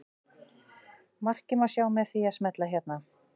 Markið má sjá með því að smella hérna.